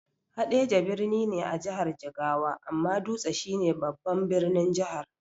Haɗeja birni ne a jihar Jigawa, amma Dutse shi ne babban birnin Jihar.